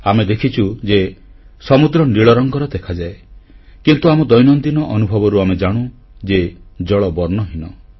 ଆମେ ଦେଖିଛୁ ଯେ ସମୁଦ୍ର ନୀଳରଙ୍ଗର ଦେଖାଯାଏ କିନ୍ତୁ ଆମ ଦୈନନ୍ଦିନ ଅନୁଭବରୁ ଆମେ ଜାଣୁ ଯେ ଜଳ ବର୍ଣ୍ଣହୀନ